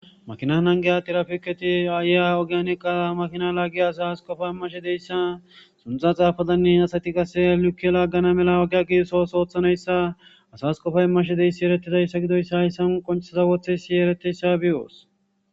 Maakina nagiya tirapiketti oogiyanikka maakina lagiya asas qoppa iimashe dezayssa kunththa xaafadanne asati qase like lagana mala oogiya gigiso oosso ooththanayisa asas qooppa iimmashe dizayssa hayssan qonccisha wottashe dizayssa beyos